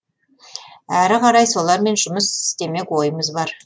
әрі қарай солармен жұмыс істемек ойымыз бар